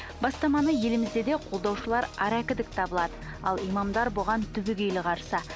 бастаманы елімізде де қолдаушылар ара кідік табылады ал имамдар бұған түбегейлі қарсы